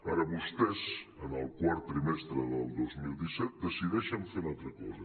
ara vostès en el quart trimestre del dos mil disset decideixen fer una altra cosa